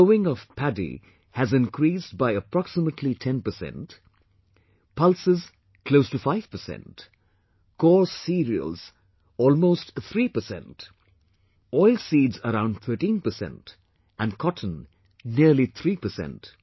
The sowing of paddy has increased by approximately 10 percent, pulses close to 5 percent, coarse cereals almost 3 percent, oilseeds around 13 percent and cotton nearly 3 percent